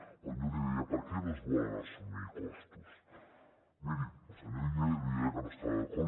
quan jo li deia per què no es volen assumir costos miri el senyor illa li deia que no hi estava d’acord